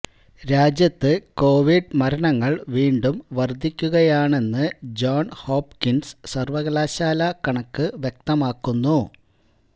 രാജ്യത്ത് കോവിഡ് മരണങ്ങള് വീണ്ടും വര്ധിക്കുകയാണെന്ന് ജോണ് ഹോപ്കിന്സ് സര്വകലാശാല കണക്ക് വ്യക്തമാക്കുന്നു